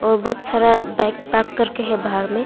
और बहुत सारा बाइक पार्क करके है बाहर में।